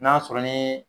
N'a sɔrɔ ni